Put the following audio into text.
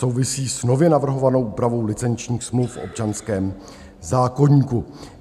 Souvisí s nově navrhovanou úpravou licenčních smluv v občanském zákoníku.